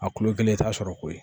A kulo kelen i t'a sɔrɔ koyi